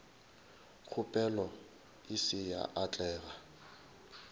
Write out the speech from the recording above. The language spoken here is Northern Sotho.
kgopelo e se ya atlega